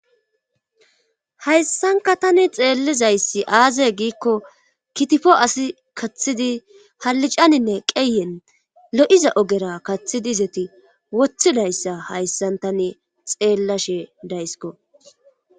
hayssanka tani xeellizayssi aazey giikko kitifo asi kathidi hallicaninne qeyen lo7iza ogera kaththidi izeti wothidayssa hayssan tane xeellashe daysko